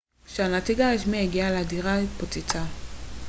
כשהנציג הרשמי הגיע הדירה התפוצצה